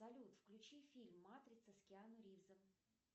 салют включи фильм матрица с киану ривзом